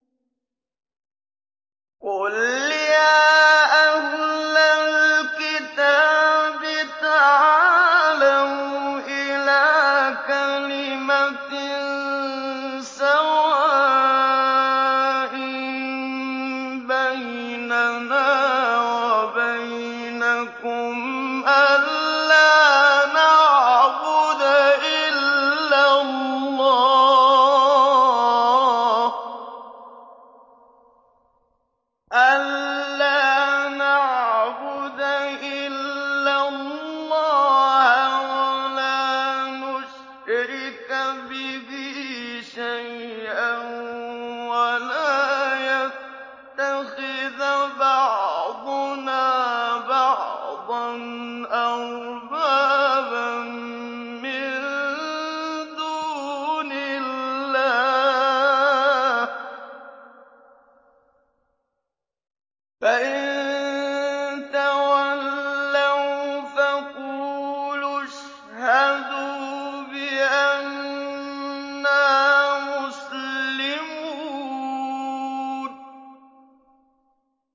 قُلْ يَا أَهْلَ الْكِتَابِ تَعَالَوْا إِلَىٰ كَلِمَةٍ سَوَاءٍ بَيْنَنَا وَبَيْنَكُمْ أَلَّا نَعْبُدَ إِلَّا اللَّهَ وَلَا نُشْرِكَ بِهِ شَيْئًا وَلَا يَتَّخِذَ بَعْضُنَا بَعْضًا أَرْبَابًا مِّن دُونِ اللَّهِ ۚ فَإِن تَوَلَّوْا فَقُولُوا اشْهَدُوا بِأَنَّا مُسْلِمُونَ